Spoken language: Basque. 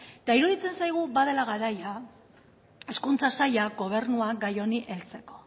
eta iruditzen zaigu badela garaia hezkuntza saila gobernua gai honi heltzeko